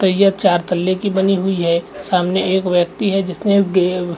तैयत चार तल्ले की बनी हुई है सामने एक व्यक्ति है जिसने गे--